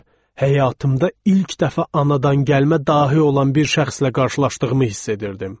Həyatımda ilk dəfə anadan gəlmə dahi olan bir şəxslə qarşılaşdığımı hiss edirdim.